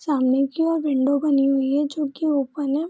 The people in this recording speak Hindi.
सामने की और विंडो बनी है जो की ओपन है।